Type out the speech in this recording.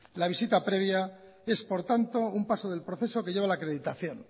la visita previa es por tanto un paso del proceso que lleva a la acreditación